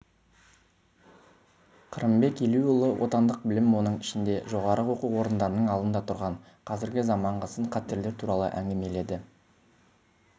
қырымбек елеуұлы отандық білім оның ішінде жоғары оқу орындарының алдында тұрған қазіргі заманғы сын-қатерлер туралы әңгімеледі